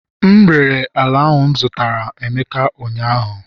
M rere ala m zụtara emeka ụnyahụ